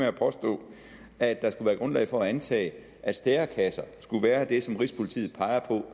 at påstå at der skulle være grundlag for at antage at stærekasser skulle være det som rigspolitiet peger på